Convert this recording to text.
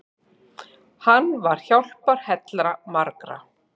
Hann var hjálparhella margra.